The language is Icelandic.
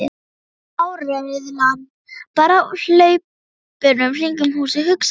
Það var áreiðanlega bara af hlaupunum kringum húsið, hugsaði